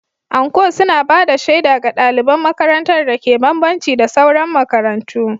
Anko suna ba da shaida ga ɗaliban makarantar dake bambanci da sauran makarantu.